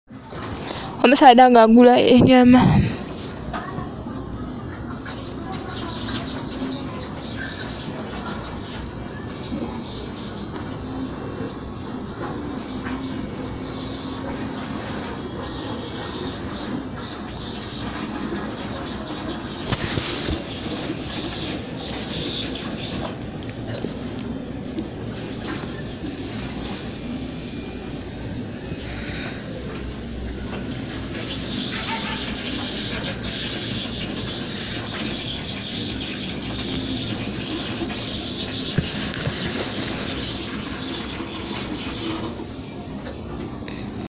Omusaadha nga agula enyama...